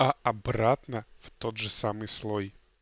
а обратно в тот же самый слой